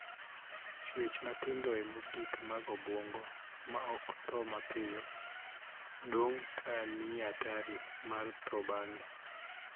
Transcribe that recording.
Chuech matindoe mogik mag obuongo, ma ok thoo mapiyo, dong' ka nie atari mar thoo bang'e.